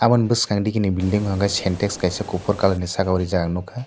aw bwskang digi ni building o sintex kaisa saka o reejak ang nugkka.